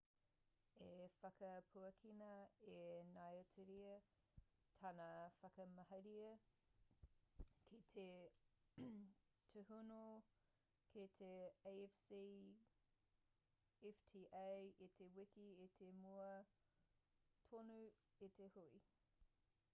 i whakapuakina e ngāitiria tāna whakamahere ki te tūhono ki te afcfta i te wiki i mua tonu i te hui